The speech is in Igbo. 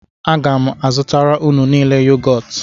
Aga m azụtara unu niile yogọt